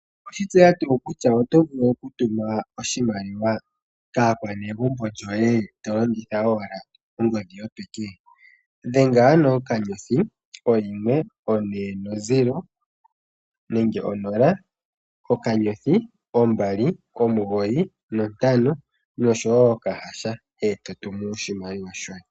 Oweshi tseya tuu kutya oto vulu oku tuma oshimaliwa kaakwanegumbo lyoye tolongitha owala ongodhi yopeke? Dhenga ano okanyothi, oyimwe, onola okanyothi ombali omugoyi nontano osho woo oka hasha eto tumu oshimaliwa shoye.